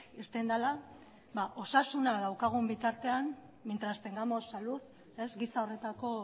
irten dela osasuna daukagun bitartean mientras tengamos salud gisa horretako